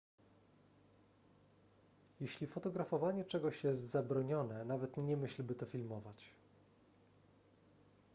jeśli fotografowanie czegoś jest zabronione nawet nie myśl by to filmować